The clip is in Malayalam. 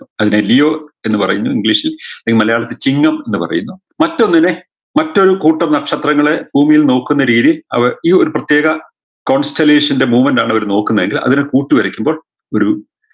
അതിനെ leo എന്ന് പറയുന്നു english ൽ അല്ലേ മലയാളത്തിൽ ചിഹ്നം എന്ന് പറയുന്നു മറ്റൊന്നിനെ മറ്റൊരു കൂട്ടം നക്ഷത്രങ്ങളെ ഭൂമിയിൽ നോക്കുന്ന രീതി അവർ ഈ ഒരു പ്രത്യേക movement ആണ് അവര് നോക്കുന്നതെങ്കിൽ അതിനെ കൂട്ടി വരയ്ക്കുമ്പോൾ ഒരു